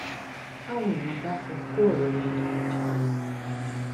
káwọn èèyàn dákun kó ọrọ yẹn dànù jàre